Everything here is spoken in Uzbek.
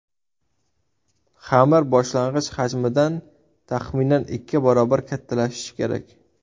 Xamir boshlang‘ich hajmidan taxminan ikki barobar kattalashishi kerak.